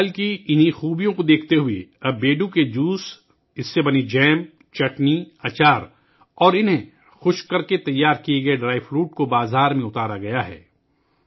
اس پھل کی ان خوبیوں کے پیش نظر اب بیڑو کے جوس، جیم، چٹنیاں، اچار اور خشک میوہ جات کو خشک کرکے تیار کیا گیا ہے